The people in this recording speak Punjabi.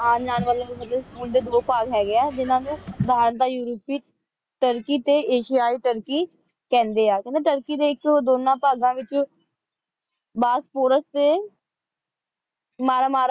ਆਂ ਜਾਨ ਵਾਲੀ ਮਤਲਬ ਹੁਣ ਟੀ ਦੋ ਪਾਲ ਹੇਗ੍ਯ ਆ ਜਿਨਾ ਨੂ ਦਾ ਯੂਰੋਪੀ ਤੁਰਕੀ ਟੀ ਅਸਿਏ ਤੁਰਕੀ ਕੇਹੰਡੀ ਆ ਮਤਲਬ ਤੁਰਕੀ ਦੇ ਆਇਕ ਦੋਨਾ ਪਗਾਂ ਵਿਚ ਬਸ੍ਫੋਰਾਸ ਟੀ ਮਰਾ ਮਰਾ